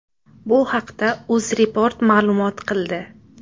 Bu haqda UzReport ma’lum qildi .